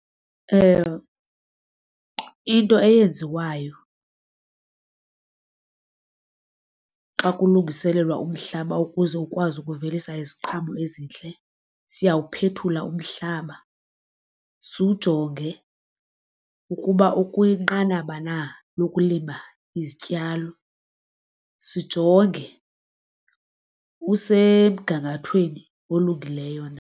Into eyenziwayo xa kulungiselelwa umhlaba ukuze ukwazi ukuvelisa iziqhamo ezintle siyawuphethule umhlaba siwujonge ukuba ukwinqanaba na lokulima izityalo. Sijonge usemgangathweni olungileyo na.